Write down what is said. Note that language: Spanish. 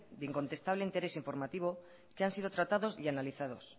de incontestable interés informativo que han sido tratados y analizados